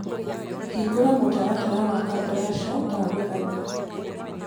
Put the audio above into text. hĩngura mũtaratara wa kabrasha ndagũthaĩtha